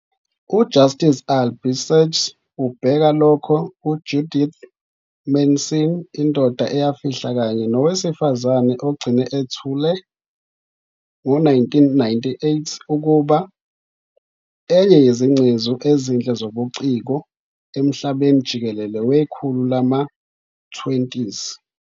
UJustice Albie Sachs ubheka lokho U-Judith Mason "Indoda Eyafihla kanye Nowesifazane Ogcine Ethule" ngo-1998 ukuba "enye yezingcezu ezinhle zobuciko emhlabeni jikelele wekhulu lama-20s".